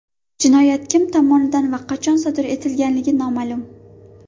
Jinoyat kim tomonidan va qachon sodir etilganligi noma’lum.